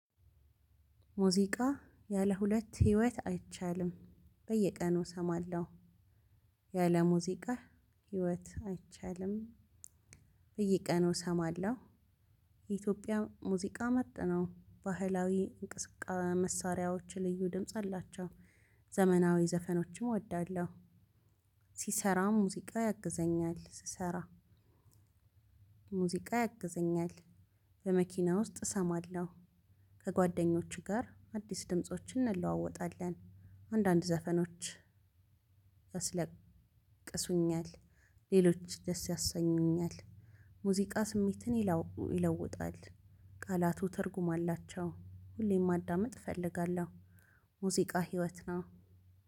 ሙዚቃ ያለ ሁለት ህይወት አይቻልም። በየቀኑ እሰማለሁ። ያለ ሙዚቃ ህይወት አይቻልም። በየቀኑ እሰማለሁ። የኢትዮጵያ ሙዚቃ መጥነው ባህላዊ እንቅስቃ መሳሪያዎች ልዩ ድምጽ አላቸው። ዘመናዊ ዘፈኖችም እወዳለሁ። ሲሰራ ሙዚቃ ያግዘኛል ስሰራ ሙዚቃ ያግዘኛል። በመኪና ውስጥ እሰማለሁ። ከጓደኞቹ ጋር አዲስ ድምፆችን እንለዋወጣለን። አንዳንድ ዘፈኖች ያስለቅሱኛል። ሌሎች ደስ ያሰኙኛል። ሙዚቃ ስሜትን ይለው ይለውጣል። ቃላቱ ትርጉም አላቸው። ሁሌም ማዳመጥ እፈልጋለሁ። ሙዚቃ ህይወት ነው።